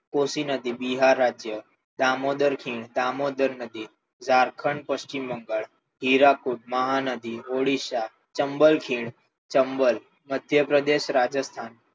કોશી નદી બિહાર રાજ્ય દામોદર ખીણ દામોદર નદી ઝારખંડ પશ્ચિમ બંગાળ હિરાપુર મહાનદી ઓરિસ્સા ચંબલખીણ ચંબલ મધ્યપ્રદેશ રાજસ્થાન